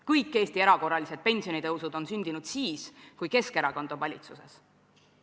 Kõik Eesti erakorralised pensionitõusud on sündinud siis, kui Keskerakond on olnud valitsuses.